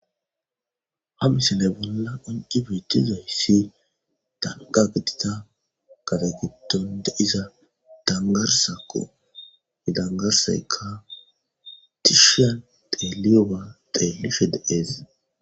Hamisinay bolla onci beetizayssi danga gitita katagiton de iza dangarsakko hidangarseka tishian teeliyowa xeelishe deees.